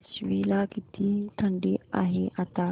आश्वी ला किती थंडी आहे आता